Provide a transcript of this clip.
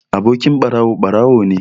Abokin ɓarawo, ɓarawo ne